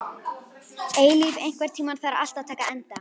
Eilíf, einhvern tímann þarf allt að taka enda.